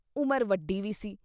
ਉਮਰ ਵੱਡੀ ਵੀ ਸੀ।